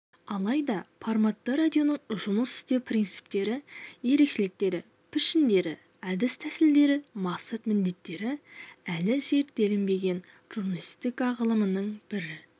алайда форматты радионың жұмыс істеу принциптері ерекшеліктері пішіндері әдіс-тәсілдері мақсат-міндеттері әлі зерттелінбеген журналистика ғылымының бір